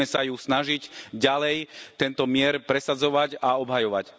Musíme sa snažiť ďalej tento mier presadzovať a obhajovať.